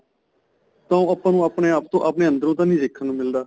ਤਾਂ ਉਹ ਆਪਾਂ ਨੂੰ ਆਪਣੇ ਆਪ ਤੋ ਆਪਣੇ ਅੰਦਰੋ ਤਾਂ ਨਹੀਂ ਦੇਖਣ ਨੂੰ ਮਿਲਦਾ